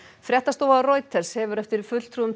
fréttastofa Reuters hefur eftir fulltrúum